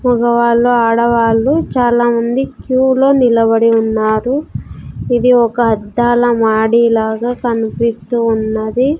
మగవాళ్ళు ఆడవాళ్ళు చాలా మంది క్యూ లో నిలబడి ఉన్నారు ఇది ఒక అద్దాల మాడి లాగా కనిపిస్తు వున్నది.